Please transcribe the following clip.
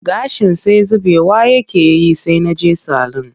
Gashin sai zubewa yake yi sai na je salun